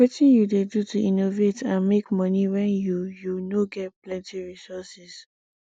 wetin you dey do to innovate and make monie when you you no ge plenty resources